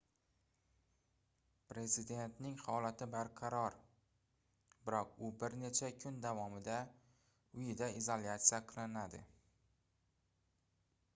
prezidentning holati barqaror biroq u bir necha kun davomida uyida isolyatsiya qilinadi